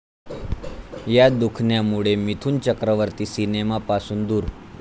या' दुखण्यामुळे मिथुन चक्रवर्ती सिनेमापासून दूर!